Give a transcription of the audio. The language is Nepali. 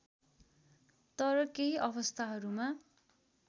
तर केही अवस्थाहरूमा